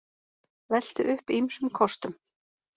Veltu upp ýmsum kostum